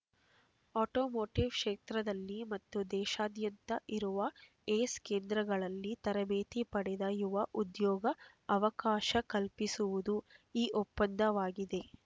automotive ಕ್ಷೇತ್ರದಲ್ಲಿ ಮತ್ತು ದೇಶದಾದ್ಯಂತ ಇರುವ ಯೆಸ್ ಕೇಂದ್ರಗಳಲ್ಲಿ ತರಬೇತಿ ಪಡೆದ ಯುವ ಉದ್ಯೋಗ ಅವಕಾಶ ಕಲ್ಪಿಸುವುದು ಈ ಒಪ್ಪಂದವಾಗಿದೆ